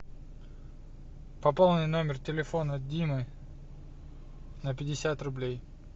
пополни номер телефона димы на пятьдесят рублей